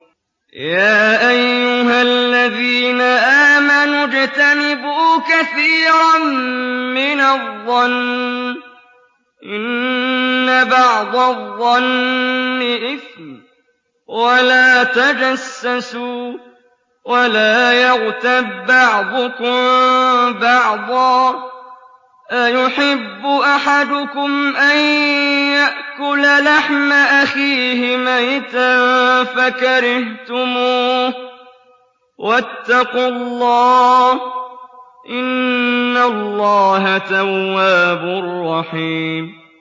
يَا أَيُّهَا الَّذِينَ آمَنُوا اجْتَنِبُوا كَثِيرًا مِّنَ الظَّنِّ إِنَّ بَعْضَ الظَّنِّ إِثْمٌ ۖ وَلَا تَجَسَّسُوا وَلَا يَغْتَب بَّعْضُكُم بَعْضًا ۚ أَيُحِبُّ أَحَدُكُمْ أَن يَأْكُلَ لَحْمَ أَخِيهِ مَيْتًا فَكَرِهْتُمُوهُ ۚ وَاتَّقُوا اللَّهَ ۚ إِنَّ اللَّهَ تَوَّابٌ رَّحِيمٌ